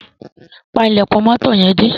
Pa ílèkùn moto yen dé.